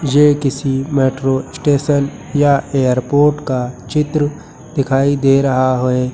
ये किसी metro station या एयरपोर्ट का चित्र दिखाई दे रहा है।